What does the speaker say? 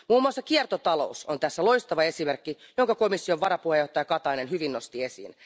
Muun muassa kiertotalous on tästä loistava esimerkki, jonka komission varapuheenjohtaja Katainen hyvin nosti esiin.